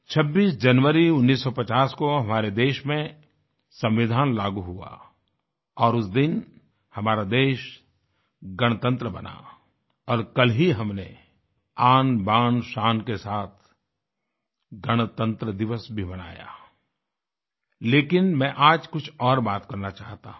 26 जनवरी 1950 को हमारे देश में संविधान लागू हुआ और उस दिन हमारा देश गणतंत्र बना और कल ही हमने आनबानशान के साथ गणतंत्र दिवस भी मनाया लेकिन मैं आज कुछ और बात करना चाहता हूँ